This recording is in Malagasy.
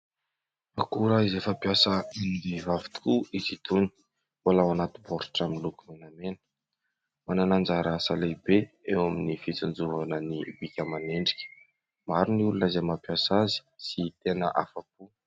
Akora izay fampiasan'ny vehivavy tokoa izy itony, ao anaty baoritra miloko menamena. Manana anjara asa lehibe eo amin'ny fitsonjovana ny bika aman'endrika. Maro ny olona izay mampiasa azy sy tena afa-po.